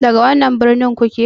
Daga wannan birnin kuke?